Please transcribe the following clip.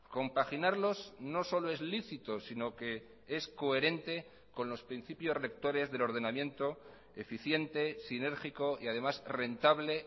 compaginarlos no solo es lícito sino que es coherente con los principios rectores del ordenamiento eficiente sinérgico y además rentable